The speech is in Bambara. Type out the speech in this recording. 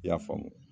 I y'a faamu